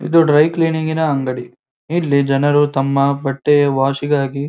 ಇದು dry cleaning ಗಿನ ಅಂಗಡಿ ಇಲ್ಲಿ ಜನರು ತಮ್ಮ ಬಟ್ಟೆ ವಾಷಿಗಾಗಿ --